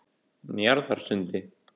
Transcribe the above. Njarðarsundi